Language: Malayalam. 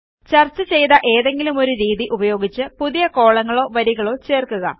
ചർച്ച ചെയ്ത ഏതെങ്കിലുമൊരു രീതി ഉപയോഗിച്ച് പുതിയ കോളങ്ങളോ വരികളോ ചേർക്കുക